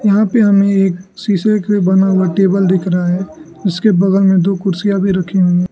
यहां पे हमे एक शीशे का बना हुआ टेबल दिख रहा हैं जिसके बगल में दो कुर्सियां भी रखी हुई--